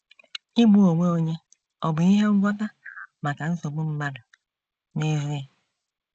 Igbu onwe onye ọ̀ bụ ihe ngwọta maka nsogbu mmadụ n’ezie?